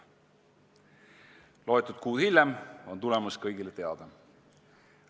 Mõni kuu hiljem on tulemus kõigile teada.